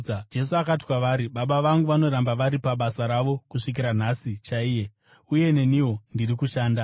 Jesu akati kwavari, “Baba vangu vanoramba vari pabasa ravo kusvikira nhasi chaiye, uye neniwo, ndiri kushanda.”